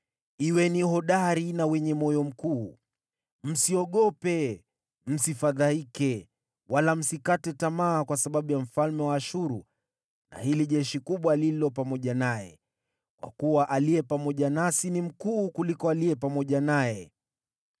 “Kuweni hodari na wenye moyo mkuu. Msiogope, msifadhaike wala msikate tamaa kwa sababu ya mfalme wa Ashuru na hili jeshi kubwa lililo pamoja naye, kwa kuwa aliye pamoja nasi ni mkuu kuliko aliye pamoja naye.